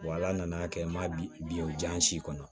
Wa ala nana kɛ n ma bi o ja n si kɔnɔ